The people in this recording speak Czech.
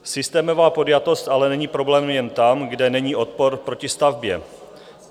Systémová podjatost ale není problém jen tam, kde není odpor proti stavbě.